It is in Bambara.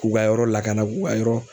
K'u ka yɔrɔ lakana k'u ka yɔrɔ